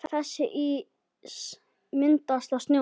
Þessi ís myndast á sjónum.